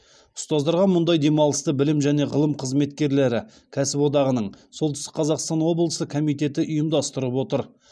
ұстаздарға мұндай демалысты білім және ғылым қызметкерлері кәсіподағының солтүстік қазақстан облысы комитеті ұйымдастырып отыр